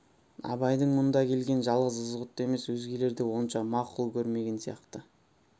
абайдың мұнда келгенін жалғыз ызғұтты емес өзгелер де онша мақұл көрмеген сияқты